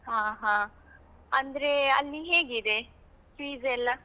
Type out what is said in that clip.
ಹಾ ಹಾ, ಅಂದ್ರೆ ಅಲ್ಲಿ ಹೇಗಿದೆ fees ಎಲ್ಲ?